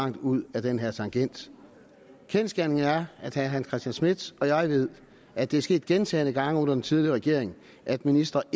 langt ud ad den her tangent kendsgerningen er at herre hans christian schmidt og jeg ved at det er sket gentagne gange under den tidligere regering at ministre